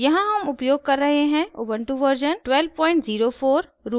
यहाँ हम उपयोग कर रहे हैं उबन्टु वर्जन 1204